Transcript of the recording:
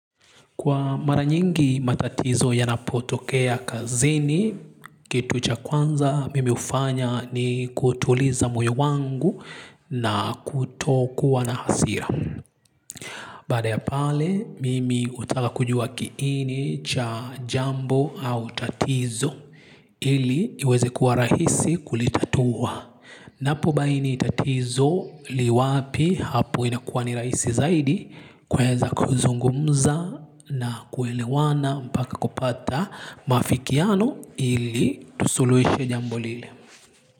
Kwa mara nyingi matatizo yanapotokea kazini, kitu cha kwanza mimi hufanya ni kutuliza moyo wangu na kutokuwa na hasira. Baada ya pale, mimi hutaka kujua kiini cha jambo au tatizo ili iweze kuwa rahisi kulitatua. Napo baini tatizo li wapi hapo inakuwa ni rahisi zaidi kuweza kuzungumza na kuelewana mpaka kupata maafikiano ili tusuluhishe jambo lile.